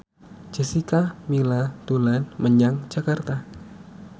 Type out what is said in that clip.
Jessica Milla dolan menyang Jakarta